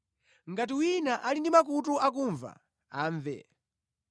Ngati wina ali ndi makutu akumva, amve.”